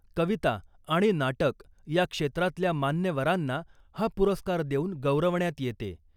कविता आणि नाटक या क्षेत्रातल्या मान्यवरांना हा पुरस्कार देऊन गौरवण्यात येते .